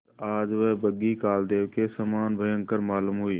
पर आज वह बग्घी कालदेव के समान भयंकर मालूम हुई